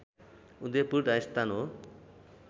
उदयपुर राजस्थान हो